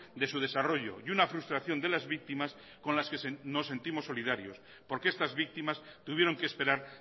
de su desarrollo y una frustración de las víctimas con las que nos sentimos solidarios porque estas víctimas tuvieron que esperar